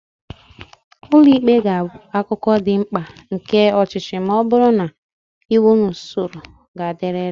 Ụlọ ikpe ga-abụ akụkụ dị mkpa nke ọchịchị ma ọ bụrụ na iwu na usoro ga-adịrịrị.